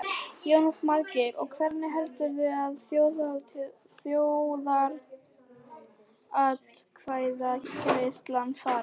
Jónas Margeir: Og hvernig heldurðu að þjóðaratkvæðagreiðslan fari?